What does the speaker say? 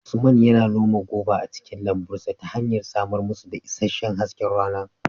Usman yana noma goba a cikin lambun sa ta hanyar samar musu da isasshen hasken rana